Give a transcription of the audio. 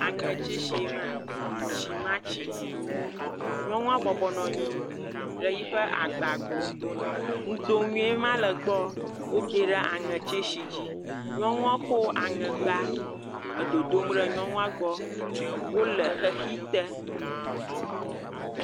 Aŋɛ tsisi ye ma. Shimatsi. Nyɔnu bɔbɔ nɔ anyi ɖe yi ƒe agba gbɔ, nudoŋue ma le egbɔ. Wode ɖe aŋɛ tsisi dzi. Nyɔnua kɔ aŋɛ gba edodo ɖe nyɔnu gbɔ. Wole xexi te.